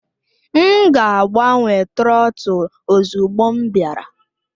M ga-agbanwe trọtul ozugbo m bịara